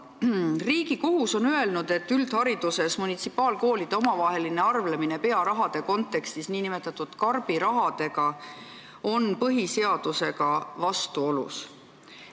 Riigikohus on öelnud, et üldhariduses munitsipaalkoolide omavaheline arveldamine pearahade kontekstis nn karbirahadega on põhiseadusega vastuolus.